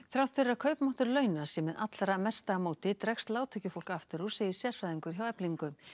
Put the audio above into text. þrátt fyrir að kaupmáttur launa sé með allra hæsta móti dregst lágtekjufólk aftur úr segir sérfræðingur hjá Eflingu